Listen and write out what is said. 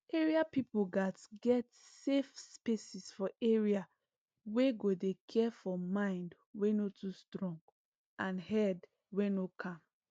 area peope gats get safe spaces for area wey go dey care for mind wey no too strong and head wey no calm